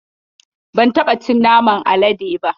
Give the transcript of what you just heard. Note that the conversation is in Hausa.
Ban taɓa cin naman alade ba.